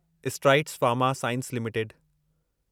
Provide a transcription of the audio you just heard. strides Pharma Science limited